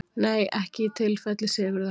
Nei ekki í tilfelli Sigurðar.